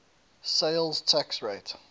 sales tax rate